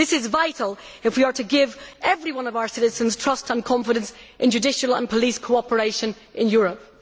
This is vital if we are to give every one of our citizens trust and confidence in judicial and police cooperation in Europe.